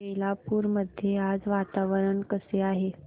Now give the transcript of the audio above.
बेलापुर मध्ये आज वातावरण कसे आहे